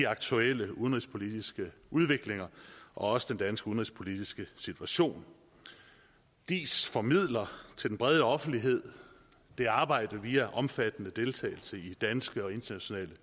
aktuelle udenrigspolitiske udvikling og også den danske udenrigspolitiske situation diis formidler til den brede offentlighed det arbejde via omfattende deltagelse i danske og internationale